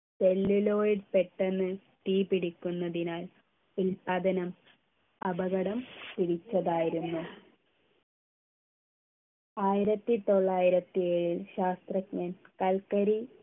celluloid പെട്ടെന്ന് തീപിടിക്കുന്നതിനാൽ ഉൽപാദനം അപകടം പിടിച്ചതായിരുന്നു ആയിരത്തിത്തൊള്ളായിരത്തി ഏഴിൽ ശാസ്ത്രജ്ഞൻ കൽക്കരി